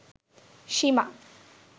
সীমা